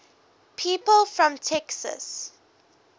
people from texas